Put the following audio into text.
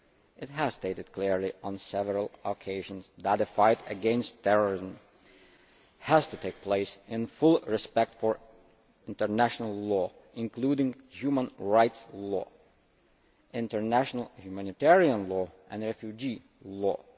It has stated clearly on several occasions that the fight against terrorism has to take place in full respect for international law, including human rights law, international humanitarian law and refugee law.